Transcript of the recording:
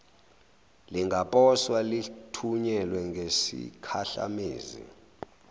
lingaposwa lithunyelwe ngesikhahlamezi